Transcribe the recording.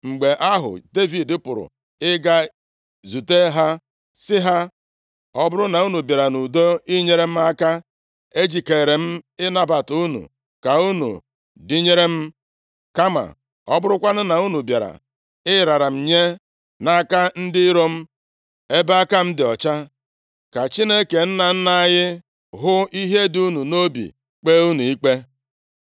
Mgbe ahụ, Devid pụrụ ịga zute ha, sị ha, “Ọ bụrụ na unu bịara nʼudo inyere m aka, ejikeere m ịnabata unu ka unu dịnyere m. Kama ọ bụrụkwanụ na unu bịara ịrara m nye nʼaka ndị iro m, ebe aka m dị ọcha, ka Chineke nna nna anyị hụ ihe dị unu nʼobi kpee unu ikpe.”